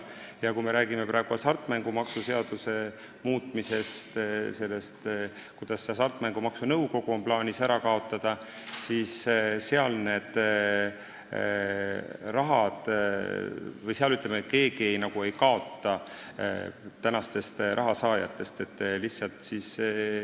Ja kui me räägime hasartmängumaksu seaduse muutmisest, sellest, kuidas on plaanis Hasartmängumaksu Nõukogu ära kaotada, siis keegi praegustest suurematest raha saajatest ei kaota.